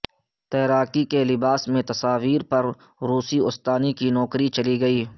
تیراکی کے لباس میں تصاویر پر روسی استانی کی نوکری چلی گئی